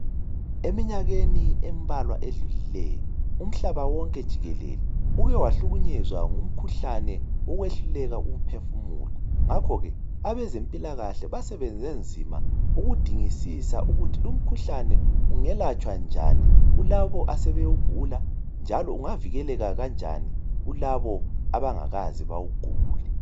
eminyakeni embalwa edlulileyo umhlaba wonke jikelele ue wahlukunyezwa ngumkhuhlane wokwehluleka ukuphefumula ngakho ke abezempilakahle basebenze nzima ukudingisisa ukuthi lo umkhuhlane ungelatshwa njani ulabo asbewugula njalo ungavikeleka kanjani kulabo abangakaze bawugule